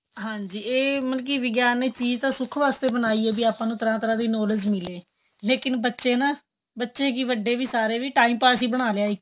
ਹਾਂਜੀ ਏਹ ਵਿਗਿਆਨ ਚੀਜ ਤਾਂ ਸੁਖ ਵਾਸਤੇ ਬਣਾਈ ਏ ਵੀ ਆਪਾਂ ਨੂੰ ਤਰ੍ਹਾਂ ਤਰ੍ਹਾਂ knowledge ਮਿਲੇ ਲੇਕਿਨ ਬੱਚੇ ਨਾ ਬੱਚੇ ਕਿ ਵੱਡੇ ਸਾਰੇ time pass ਹੀ ਬਣਾ ਲਿਆ ਇੱਕ